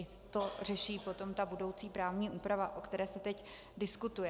I to řeší potom ta budoucí právní úprava, o které se teď diskutuje.